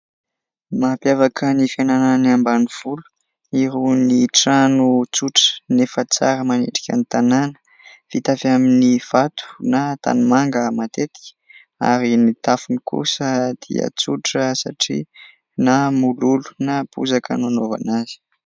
Mampiafaka ny fiainan'ny ambanivolo irony trano tsotra nefa tsara manendrika ny tanàna, vita avy amin'ny vato na tanimanga matetika ary ny tafony kosa dia tsotra satria na mololo na bozaka no anaovana azy.